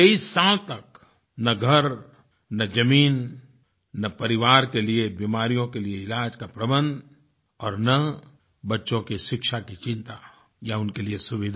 23 साल तक न घर न ज़मीन न परिवार के लिए बीमारियों के लिए इलाज़ का प्रबंध और ना बच्चों के शिक्षा की चिंता या उनके लिए सुविधा